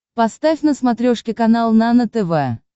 поставь на смотрешке канал нано тв